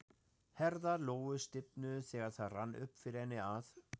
Herðar Lóu stífnuðu þegar það rann upp fyrir henni að